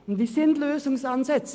Es gibt Lösungsansätze.